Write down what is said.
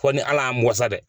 Fo ni ala y'an bɔ sa dɛ.